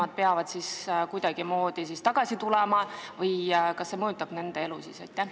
Kas nemad peavad siis tagasi tulema või kuidas see mõjutab nende elu?